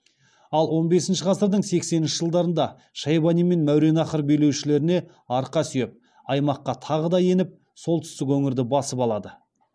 ал он бесінші ғасырдың сексенінші жылдарында шайбани мен мәуереннахр билеушілеріне арқа сүйеп аймаққа тағы да еніп солтүстік өңірді басып алады